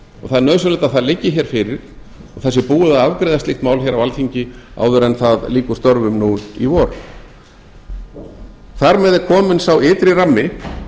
það er nauðsynlegt að það liggi hér fyrir að það sé búið að afgreiða slíkt mál hér á alþingi áður en það lýkur störfum nú í vor þar með er kominn sá ytri rammi